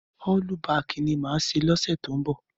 Ọ́lú bakì ni màá ṣe lọ́sẹ̀ tó ń bọ̀.